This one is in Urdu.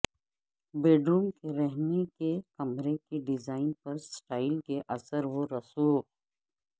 بیڈروم کے رہنے کے کمرے کے ڈیزائن پر سٹائل کے اثر و رسوخ